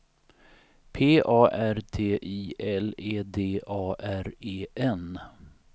P A R T I L E D A R E N